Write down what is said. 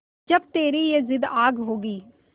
जब तेरी ये जिद्द आग होगी